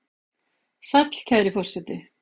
Sæll, kæri forseti!